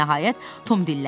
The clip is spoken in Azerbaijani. Nəhayət, Tom dilləndi: